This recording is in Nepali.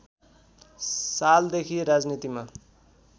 सालदेखि राजनीतिमा